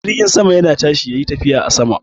Jirgin sama yana tashi yayi tafiya a sama.